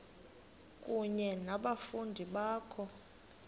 kunye nabafundi bakho